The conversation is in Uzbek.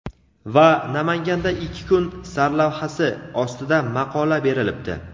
va "Namanganda ikki kun" sarlavhasi ostida maqola berilibdi.